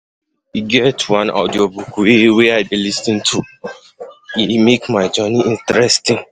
E get one audiobook wey I lis ten to, e make my journey interesting.